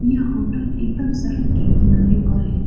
ये होटल एकदम सड़क के किनारे पर है।